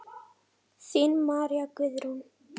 Þín María Guðrún.